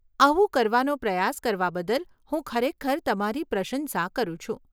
આવું કરવાનો પ્રયાસ કરવા બદલ હું ખરેખર તમારી પ્રશંસા કરું છું.